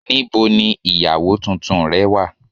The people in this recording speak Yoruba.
Níbo ni ìyàwó tuntun rẹ̀ wá